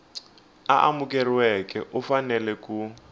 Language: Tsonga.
a amukeriweke u fanele ku